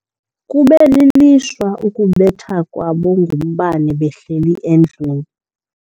Kube lilishwa ukubethwa kwabo ngumbane behleli endlwini.